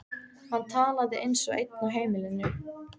Hann talaði eins og einn á heimilinu.